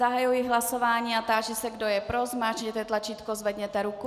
Zahajuji hlasování a táži se, kdo je pro, zmáčkněte tlačítko, zvedněte ruku.